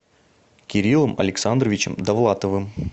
кириллом александровичем давлатовым